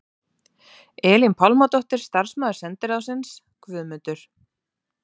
Elín Pálmadóttir starfsmaður sendiráðsins, Guðmundur